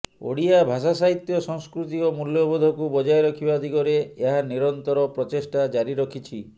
ଓଡ଼ିଆ ଭାଷା ସାହିତ୍ୟ ସଂସ୍କୃତି ଓ ମୂଲ୍ୟବୋଧକୁ ବଜାୟ ରଖିବା ଦିଗରେ ଏହା ନିରନ୍ତର ପ୍ରଚେଷ୍ଟା ଜାରି ରଖିଛି